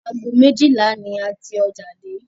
Aago méjìlá ni a ti ọjà dé